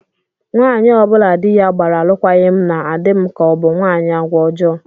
Nwaanyị ọ bụla di ya gbara alụkwaghị m na-adị m ka ọ bụ nwaanyị agwa ọjọọ